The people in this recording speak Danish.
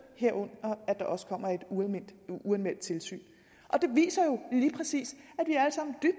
herunder at der også kommer et uanmeldt tilsyn det viser jo lige præcis